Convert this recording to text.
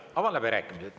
Avan läbirääkimised.